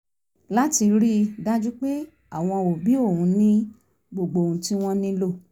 láti rí i dájú pé àwọn òbí òun ní gbogbo ohun tí wọ́n nílò